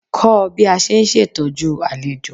Ko bí a ṣe ń ṣe'tọ́jú àlejò.